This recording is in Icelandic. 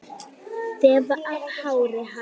Þefa af hári hans.